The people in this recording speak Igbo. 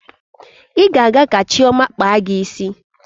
Ị ga-aga ka Chioma kpaa gị isi.